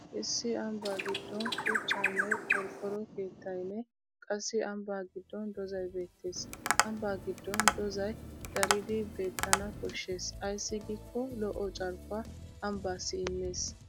Issi ambbaa giddon shuchchaanne qorqqoro keettaynne qassi ambbaa giddon doozzay beettes. Ambbaa giddon doozzay daridi beettana koshshes ayssi giikko lo'o carkkuwaa ambbaassi immes.